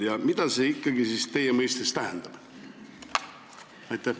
Ja mida see ikkagi teie arusaama kohaselt tähendab?